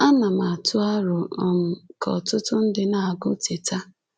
Ana m atụ aro um ka ọtụtụ ndị na-agụ Teta!